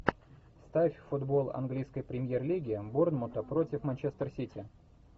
ставь футбол английской премьер лиги борнмута против манчестер сити